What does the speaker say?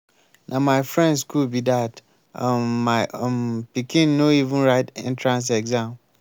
na my friend school be dat um my um pikin no even write entrance exam.